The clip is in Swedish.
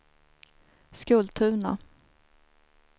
Skultuna